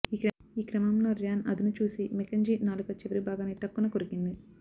ఈ క్రమంలో ర్యాన్ అదునుచూసి మెకెంజీ నాలుక చివరి భాగాన్ని ఠక్కున కొరికింది